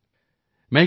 ਮੈਂ ਇੱਕ ਵਾਰ ਟੀ